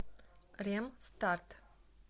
ремстарт